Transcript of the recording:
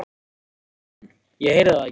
Nei, sagði hann, ég heyrði það ekki.